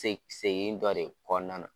Se segin dɔ de kɔnɔna na.